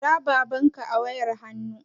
Kira babanka a wayar hannu